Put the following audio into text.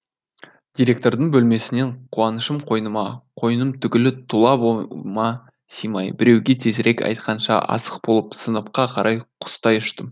директордың бөлмесінен қуанышым қойныма қойным түгілі тұла бойыма симай біреуге тезірек айтқанша асық болып сыныпқа қарай құстай ұштым